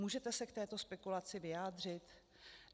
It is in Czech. Můžete se k této spekulaci vyjádřit?